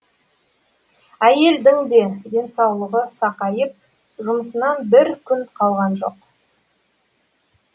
әйелдің де денсаулығы сақайып жұмысынан бір күн қалған жоқ